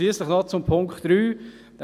Schliesslich noch zu Punkt 3.